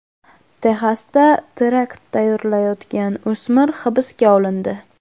Texasda terakt tayyorlayotgan o‘smir hibsga olindi.